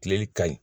Tileli ka ɲi